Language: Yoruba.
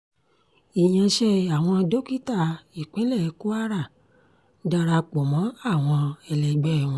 ìyànṣe àwọn dókítà ìpínlẹ̀ kwara dara pọ̀ mọ́ àwọn ẹlẹgbẹ́ wọn